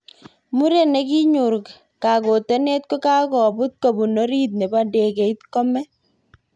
Muren nekinyor kakotonet kokakobut kopun orit nebo ndegeit kome.